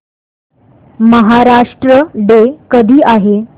Maharashtra day कधी आहे